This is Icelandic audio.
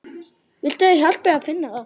Viltu að ég hjálpi þér að finna þá?